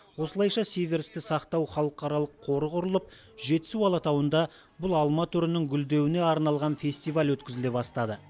осылайша сиверсті сақтау халықаралық қоры құрылып жетісу алатауында бұл алма түрінің гүлдеуіне арналған фестиваль өткізіле бастады